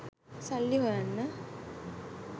සල්ලි හොයන්න